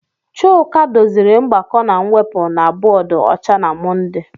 Chuka doziri mgbakọ na mwepụ na bọọdụ ọcha na Mọnde.